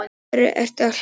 Af hverju ertu að hlæja?